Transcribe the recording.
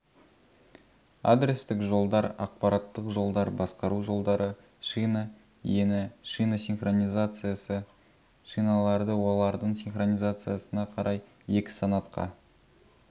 адрестік жолдар ақпараттық жолдар басқару жолдары шина ені шина синхронизациясы шиналарды олардың синхронизациясына қарай екі санатқа